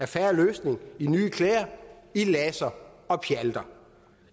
fair løsning i nye klæder i laser og pjalter